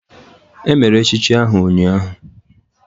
Emere echichi ahụ ụnyahụ.